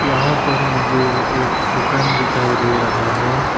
यहां पर मुझे एक दुकान दिखाई दे रहा है।